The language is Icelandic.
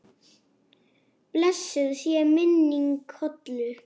Blessuð sé minning Hollu.